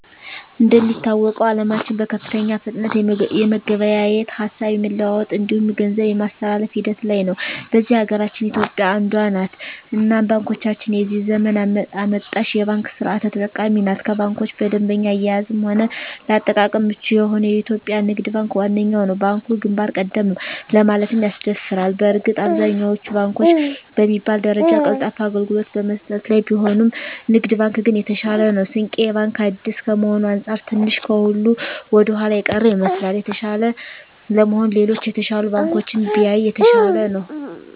እንደሚታወቀዉ አለማችን በከፍተኛ ፍጥነት የመገበያየት፣ ሀሳብ የመለዋወጥ እንዲሁም ገንዘብ የማስተላፍ ሂደት ላይ ነዉ። በዚህ ሀገራችን ኢትዮጵያ አንዷ ነት እናም ባንኮቻችንም የዚህ ዘመን አመጣሽ የባንክ ስርት ተጠቃሚ ናት ከባንኮች በደንበኛ አያያዝም ሆነ ለአጠቃቀም ምቹ የሆነዉ የኢትዮጵያ ንግድ ባንክ ዋነኛዉ ነዉ። ባንኩ ግንባር ቀደም ነዉ ለማለትም ያስደፍራል በእርግጥ አብዛኛወቹ ባንኮች በሚባል ደረጃ ቀልጣፋ አገልግሎት በመስጠት ላይ ቢሆኑም ንግድ ባንክ ግን የተሻለ ነዉ። ስንቄ ባንክ አዲስ ከመሆኑ አንፃር ትንሽ ከሁሉ ወደኋላ የቀረ ይመስላል። የተሻለ ለመሆን ሌሎች የተሻሉ ባንኮችን ቢያይ የተሻለ ነዉ።